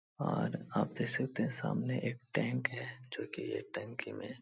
और आते सामने एक टैंक है जो की यह टंकी में --